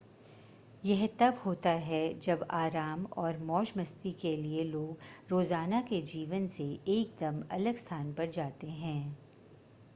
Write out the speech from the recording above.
यह तब होता है जब आराम और मौज-मस्ती के लिए लोग रोज़ाना के जीवन से एकदम अलग स्थान पर जाते हैं